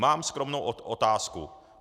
Mám skromnou otázku.